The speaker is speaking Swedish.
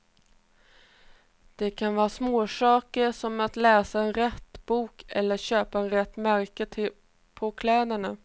Det kan vara småsaker, som att läsa rätt bok eller köpa rätt märke på kläderna.